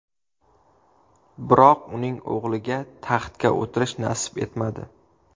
Biroq uning o‘g‘liga taxtga o‘tirish nasib etmadi.